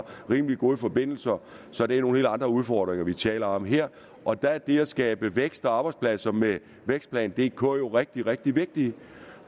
rimelig gode forbindelser så det er nogle helt andre udfordringer vi taler om her og der er det at skabe vækst og arbejdspladser med vækstplan dk jo rigtig rigtig vigtigt